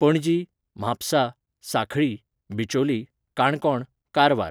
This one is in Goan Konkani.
पणजी, म्हापसा, सांखळी, बिचोली, काणकोण, कारवार